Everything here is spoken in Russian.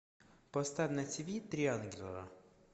поставь на тиви три ангела